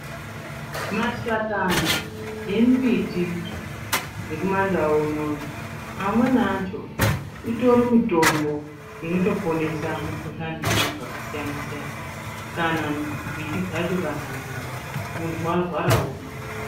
Mashakani yemimbiti dzekumandau unono amweni acho itori mitombo inotoponesa mukhuhlane yevantu vakasiyana siyana kana mbiti dzacho kana nzinde, muntu warwara womwa.